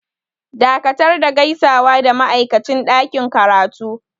Dakatar da gaisawa da ma'aikacin ɗakin karatu!